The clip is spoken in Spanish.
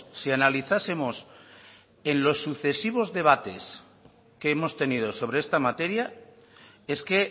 si analizásemos en los sucesivos debates que hemos tenido sobre esta materia es que